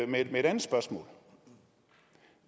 med et andet spørgsmål